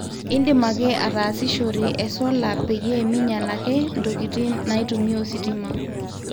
indim ake ataasishore e solar peyie minyal ake ntokitin naitumia ositima